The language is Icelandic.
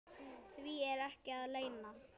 Því er ekki að leyna.